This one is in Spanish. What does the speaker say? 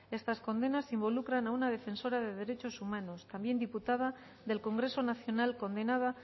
estas condenas involucran a una defensora de derechos humanos también diputada del congreso nacional condenada